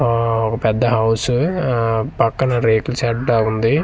ఆ ఒక పెద్ద హౌస్ ఆ పక్కన రేకుల షెడ్ లా ఉంది.